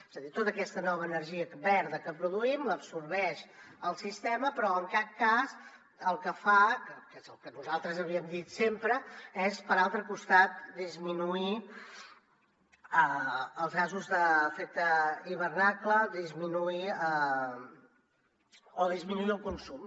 és a dir tota aquesta nova energia verda que produïm l’absorbeix el sistema però en cap cas el que fa que és el que nosaltres havíem dit sempre és per altre costat disminuir els gasos d’efecte hivernacle o disminuir el consum